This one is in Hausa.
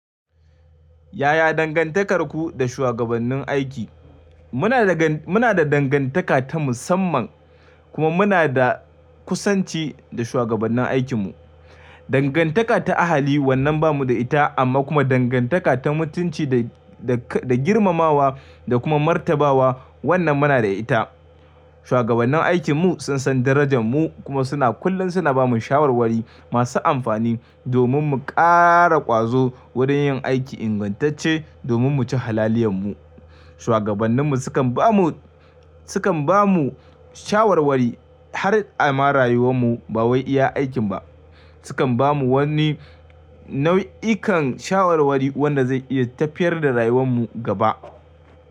Yaya dangantakarku da shugabannin aiki? Muna da dangantaka ta musamman kuma muna da kusanci da shugabannin aikinmu. Dangantaka ta iyali wannan ba mu da ita amma kuma dangantaka ta mutunci da girmamawa da kuma martabawa wannan muna da ita. Shugabannin aikinmu sun san darajar mu kuma kullum suna ba mu shawarwari masu amfani domin mu ƙara ƙwazo wurin yin aiki ingantacce domin mu ci halaliyan mu. Shugabanninmu sukan ba mu, sukan ba mu shawarwari har a ma rayuwar mu ba wai iya aikin ba. Sukan ba mu wani nau'ikan shawarwari wanda zai iya tafiyar da rayuwar mu gaba.